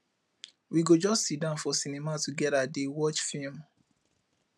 we go just siddon for cinema togeda dey watch film